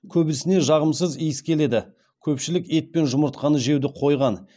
көбісіне жағымсыз иіс келеді көпшілік ет пен жұмыртқаны жеуді қойған